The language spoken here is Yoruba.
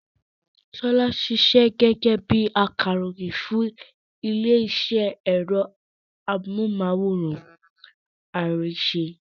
Ṣọlá ṣiṣẹ́ gẹ́gẹ́ bí i akàròyìn fún ilé-iṣẹ́ ẹ̀rọ amóhùmáwòhán Arise.